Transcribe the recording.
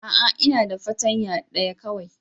A'a! Ina da fartanya daya kawai.